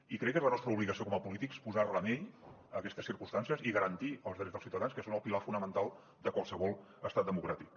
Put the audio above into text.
i crec que és la nostra obligació com a polítics posar remei a aquestes circumstàncies i garantir els drets dels ciutadans que són el pilar fonamental de qualsevol estat democràtic